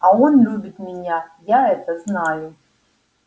а он любит меня я это знаю